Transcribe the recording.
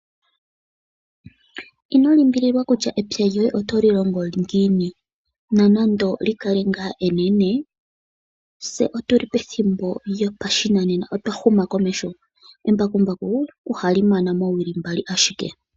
Ino limbililwa kutya epya lyoye oto li longo ngiini nonande oli kale ngaa enene . Tse otu li pethimbo lyopashinanena otwa huma komeho. Embakumbaku ohali mana moowili mbali ashike.